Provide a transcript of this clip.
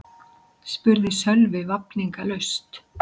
spurði Sölvi vafningalaust.